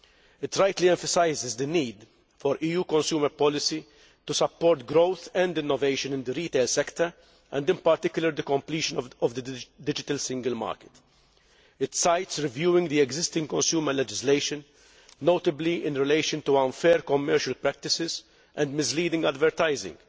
It rightly emphasises the need for EU consumer policy to support growth and innovation in the retail sector and in particular the completion of the digital single market. It cites reviewing the existing consumer legislation, notably in relation to unfair commercial practices and misleading advertising,